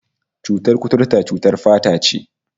Cutar kuturta cutar fata ce